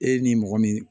E ni mɔgɔ min